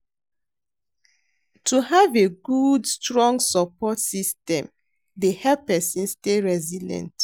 To have a good strong support system dey help pesin stay resilient.